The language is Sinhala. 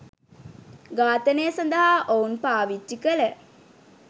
ඝාතනය සඳහා ඔවුන් පාවිච්චි කළ